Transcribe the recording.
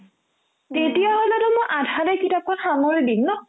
তেতিয়াহ'লেতো মই আধাতে কিতাপখন সামৰি দিম ন